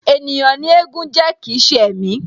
Ènìyàn ni éégún jẹ́ kii ṣe ẹ̀mí